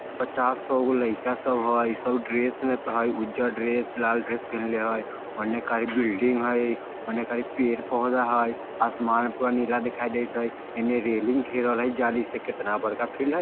पचास सौ गो लइका सब हय सब ड्रेस में हय उज्जर ड्रेस लाल ड्रेस पिन्हले हय ओने खाली बिल्डिंग हय ओने खाली पेड़-पौधा हय आसमान में पूरा नीला दिखाई देएत हय एने रेलिंग घेरल हय जाली से केतना बड़का फिल्ड हय।